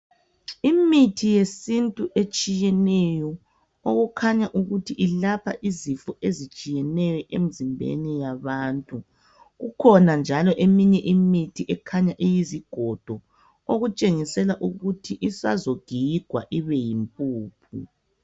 Imithi yesintu etshiyeneyo, okukhanya ukuthi ilapha izifo ezitshiyeneyo emzimbeni yabantu. Kukhona njalo eminye imithi ikhanya iyizigodo okutshengisela ukuthi isazogigwa ibeyimpuphu.